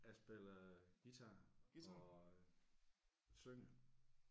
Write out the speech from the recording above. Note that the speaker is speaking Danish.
Jeg spiller guitar og øh synger